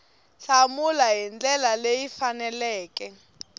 hlamula hi ndlela leyi faneleke